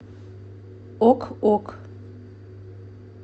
ок ок